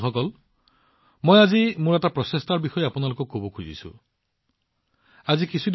বন্ধুসকল যেতিয়া মই মোটা শস্যৰ কথা কওঁ মই আজি মোৰ এটা প্ৰচেষ্টা আপোনালোকৰ সৈতে ভাগ বতৰা কৰিব বিচাৰো